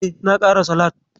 E, na ƙara salak.